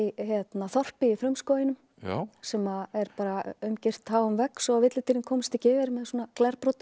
þorpi í frumskóginum sem er bara umgirt háum vegg svo komist ekki yfir með svona glerbrotum